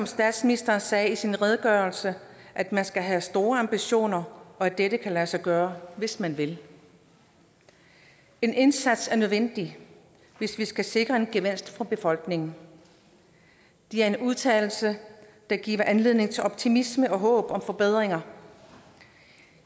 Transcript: statsministeren sagde i sin redegørelse at man skal have store ambitioner og at dette kan lade sig gøre hvis man vil en indsats er nødvendig hvis vi skal sikre en gevinst for befolkningen det er en udtalelse der giver anledning til optimisme og håb om forbedringer